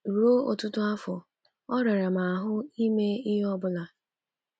Ruo ọtụtụ afọ, ọ rara m ahụ ime ihe ọ bụla.